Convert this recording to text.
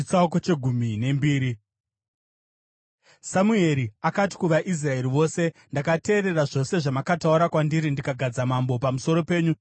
Samueri akati kuvaIsraeri vose, “Ndakateerera zvose zvamakataura kwandiri ndikagadza mambo pamusoro penyu.